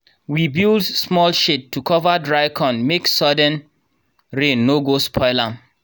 we build small shed to cover dry corn make sudden rain no go spoil am.